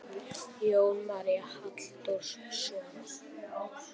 Jón Már Halldórsson.